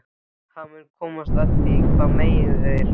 Hann mun komast að því hvað meiðir hann.